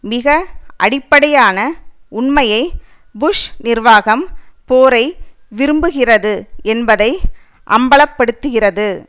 மிக அடிப்படையான உண்மையை புஷ் நிர்வாகம் போரை விரும்புகிறது என்பதை அம்பல படுத்துகிறது